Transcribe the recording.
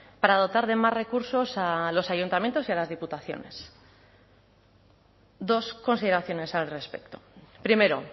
para dotar de más recursos a los ayuntamientos y a las diputaciones dos consideraciones al respecto primero